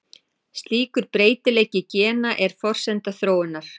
Slíkur breytileiki gena er forsenda þróunar.